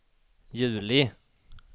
juli